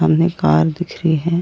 हमने कार दिख रही है।